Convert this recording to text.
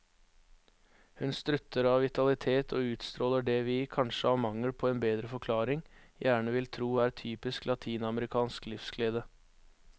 Hun strutter av vitalitet og utstråler det vi, kanskje av mangel på en bedre forklaring, gjerne vil tro er typisk latinamerikansk livsglede.